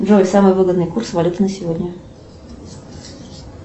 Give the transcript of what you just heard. джой самый выгодный курс валюты на сегодня